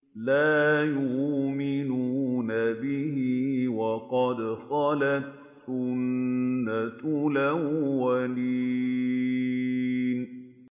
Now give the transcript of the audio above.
لَا يُؤْمِنُونَ بِهِ ۖ وَقَدْ خَلَتْ سُنَّةُ الْأَوَّلِينَ